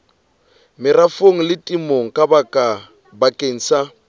merafong le temong bakeng sa